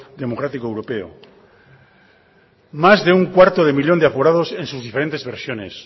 democrático europeo más de un cuarto de millón de aforados en sus diferentes versiones